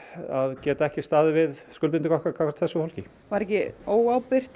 að geta ekki staðið við skuldbindingar okkar gagnvart þessu fólki var ekki óábyrgt